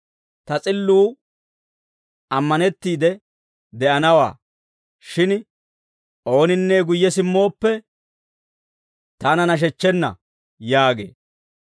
Ta s'illuu ammanettiide de'anawaa. Shin ooninne guyye simmooppe, taana nashechchenna» yaagee.